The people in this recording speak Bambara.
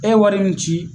E ye wari min ci